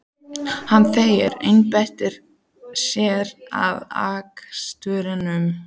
Hann þagði, einbeitti sér að akstrinum.